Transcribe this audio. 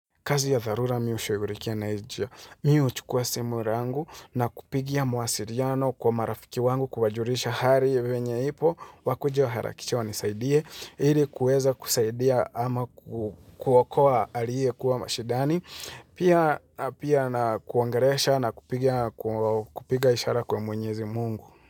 Kazi ya dharura mimi hushughurikia na hii njia. Mimi huchukua simu yangu na kupigia mawasiliano kwa marafiki wangu kuwajulisha hali venyewe ipo wakuje waharakishe wanisaidie ili kuweza kusaidia ama kuwakoa aliye kuwa mashidani pia pia na kuangolesha na kupiga ishara kwa mwenyezi mungu.